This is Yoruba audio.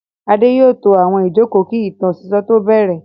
Adé yóò to àwọn ìjókòó kí ìtàn sísọ tó bẹ̀rẹ̀.